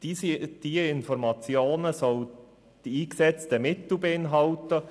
Diese Informationen sollen die eingesetzten Mittel beinhalten.